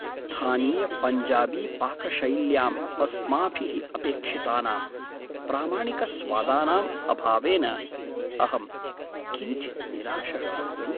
स्थानीयपञ्जाबीपाकशैल्याम् अस्माभिः अपेक्षितानां प्रामाणिकस्वादानाम् अभावेन अहं किञ्चित् निराशः अस्मि।